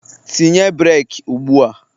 Tinye breeki ugbua!